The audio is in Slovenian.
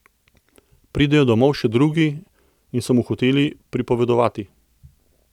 Pridejo domov še drugi in so mu hoteli pripovedovati.